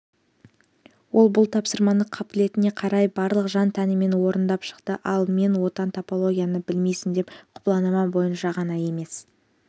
ол бұл тапсырманы қабілетіне қарай барлық жан-тәнімен орындап шықты ал мен отан топографияны білмейсің деп құбыланама бойынша ғана емес